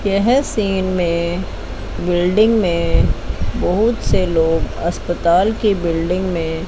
यह सीन में बिल्डिंग में बहुत से लोग अस्पताल की बिल्डिंग में--